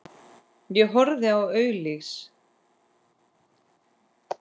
Ég horfi á auglýs